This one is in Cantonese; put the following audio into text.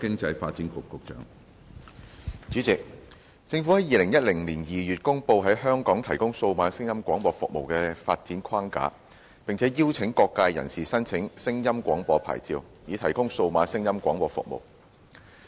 主席，政府在2010年2月公布在香港提供數碼聲音廣播服務的發展框架，並邀請各界人士申請聲音廣播牌照，以提供數碼聲音廣播服務。